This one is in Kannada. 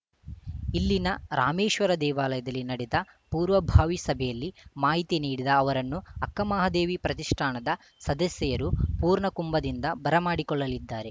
ಇಲ್ಲಿನ ರಾಮೇಶ್ವರ ದೇವಾಲಯದಲ್ಲಿ ನಡೆದ ಪೂರ್ವಭಾವಿ ಸಭೆಯಲ್ಲಿ ಮಾಹಿತಿ ನೀಡಿದ ಅವರನ್ನು ಅಕ್ಕಮಹಾದೇವಿ ಪ್ರತಿಷ್ಠಾನದ ಸದಸ್ಯೆಯರು ಪೂರ್ಣಕುಂಭದಿಂದ ಬರಮಾಡಿಕೊಳ್ಳಲಿದ್ದಾರೆ